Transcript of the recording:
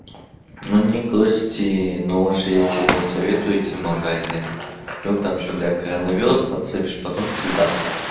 но не гости но уж я тебе не советую идти в магазин вдруг там ещё блядь коронавирус подцепишь потом пизда всем